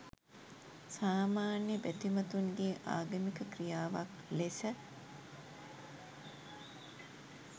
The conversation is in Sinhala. සාමාන්‍ය බැතිමතුන්ගේ ආගමික ක්‍රියාවක් ලෙස